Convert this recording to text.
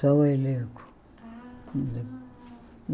Só o elenco.